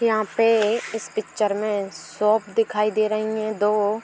यहां पे इस पिक्चर में शॉप दिखाई दे रहीं हैं दो।